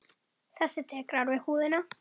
Þessi dekrar við húðina.